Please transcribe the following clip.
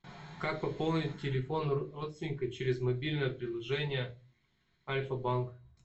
как пополнить телефон родственника через мобильное приложение альфа банк